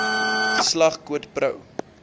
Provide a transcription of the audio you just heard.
geslag quid pro